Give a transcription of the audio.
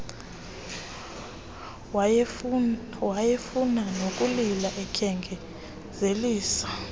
wayefuna nokulila endyengezelisa